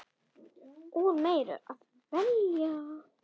Úr meiru að velja!